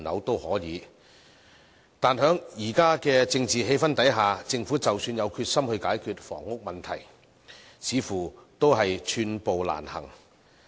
但是，在現時的政治氣氛下，政府即使有決心解決房屋問題，似乎也是寸步難行。